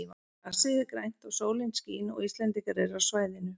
Grasið er grænt og sólin skín og Íslendingar eru á svæðinu.